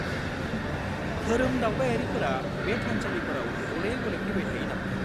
-धोरोम दावबायारिफोरा बे थानसालिफोराव गले गले फैबाय थायो नामा?